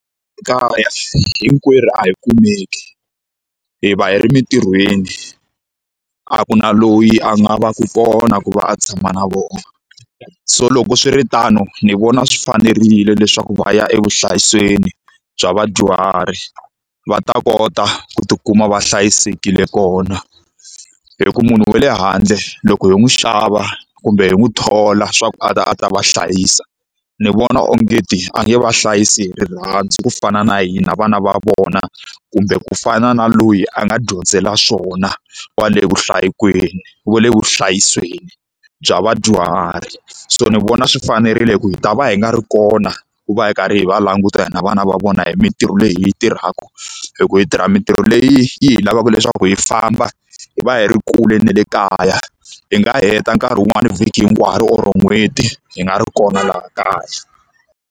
Kaya hinkwerhu a hi kumeki, hi va hi ri emintirhweni. A ku na loyi a nga va ku kona ku va a tshama na vona. So loko swiritano ni vona swi fanerile leswaku va ya evuhlayiselweni bya vadyuhari, va ta kota ku tikuma va hlayisekile kona. Hikuva munhu wa le handle loko hi n'wi xava kumbe hi n'wi thola leswaku a ta a ta va hlayisa, ni vona ongeti a nge va hlayisi hi rirhandzu ku fana na hina vana va vona kumbe ku fana na loyi a nga dyondzela swona kwale wa le vuhlayiselweni bya vadyuhari. So ni vona swi fanerile hikuva hi ta va hi nga ri kona ku va hi karhi hi va languta hina vana va vona hi mintirho leyi hi yi tirhaka. Hikuva hi tirha mintirho leyi yi lavaka leswaku hi famba hi va hi ri kule na le kaya, hi nga heta nkarhi wun'wani vhiki hinkwaro or n'hweti hi nga ri kona laha kaya.